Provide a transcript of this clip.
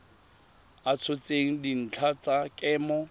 a tshotseng dintlha tsa kemo